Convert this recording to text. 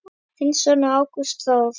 Þinn sonur, Ágúst Þór.